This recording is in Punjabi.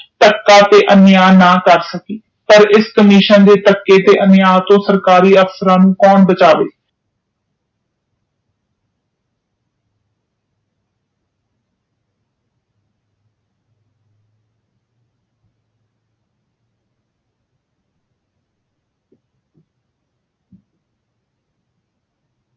ਅਨਿਆ ਨਾ ਕਰ ਸਕੇ ਪਰ ਇਸ commission ਦੇ ਧੱਕੇ ਤੇ ਅਨਿਆਯ ਤੋਂ ਸਰਕਾਰੀ ਅਫਸਰਾਂ ਨੂੰ ਕੌਣ ਬਚਾਵੇ